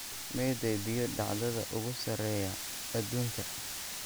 meeday biyo-dhacyada ugu sarreeya adduunka